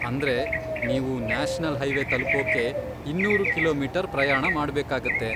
ಅಂದ್ರೆ, ನೀವು national highway ತಲುಪೋಕೆ ಇನ್ನೂರು ಕಿಲೋಮೀಟರ್ ಪ್ರಯಾಣ ಮಾಡ್ಬೇಕಾಗತ್ತೆ.